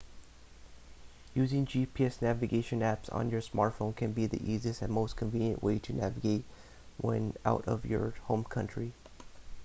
using gps navigation apps on your smartphone can be the easiest and most convenient way to navigate when out of your home country